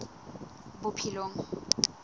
bophelong